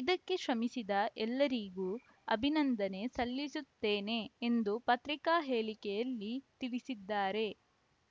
ಇದಕ್ಕೆ ಶ್ರಮಿಸಿದ ಎಲ್ಲರಿಗೂ ಅಭಿನಂದನೆ ಸಲ್ಲಿಸುತ್ತೇನೆ ಎಂದು ಪತ್ರಿಕಾ ಹೇಳಿಕೆಯಲ್ಲಿ ತಿಳಿಸಿದ್ದಾರೆ